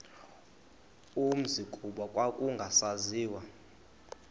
umzi kuba kwakungasaziwa